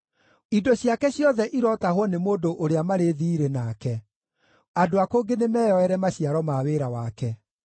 Indo ciake ciothe irotahwo nĩ mũndũ ũrĩa marĩ thiirĩ nake; andũ a kũngĩ nĩmeyoere maciaro ma wĩra wake.